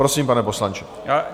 Prosím, pane poslanče.